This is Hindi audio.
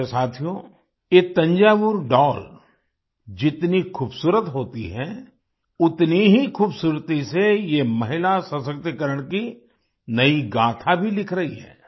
वैसे साथियो ये थंजावुर डॉल जितनी खूबसूरत होती है उतनी ही खूबसूरती से ये महिला सशक्तिकरण की नई गाथा भी लिख रही है